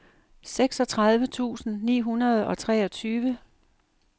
seksogtredive tusind ni hundrede og treogtyve